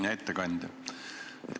Hea ettekandja!